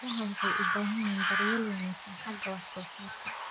Idaha waxay u baahan yihiin daryeel wanaagsan xagga wax soo saarka.